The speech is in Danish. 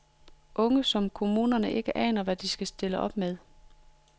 Unge, som kommunerne ikke aner hvad de skal stille op med.